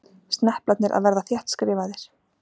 Sneplarnir að verða þéttskrifaðir.